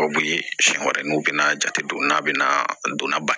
O kun ye siɲɛ wɛrɛ n'u bɛna jate don n'a bɛna donna ba la